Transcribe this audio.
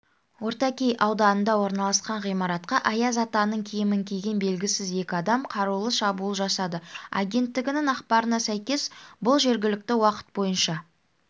ортакей ауданында орналасқан ғимаратқа аяз атаның киімін киген белгісіз екі адам қарулы шабуыл жасады агенттігінің ақпарына сәйкес бұл жергілікті уақыт бойынша